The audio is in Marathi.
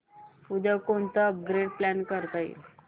उद्या कोणतं अपग्रेड प्लॅन करता येईल